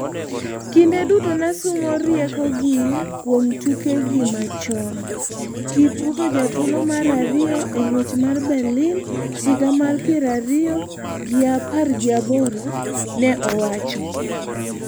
"Kinde duto nasumo rieko gi kuom tukegi machon," Kipruto jathuolo mar ariyo eng'wech mar Berlin higa mar piero ariyo gi apar gi aboro, ne owacho